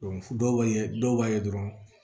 dɔw b'a ye dɔw b'a ye dɔrɔn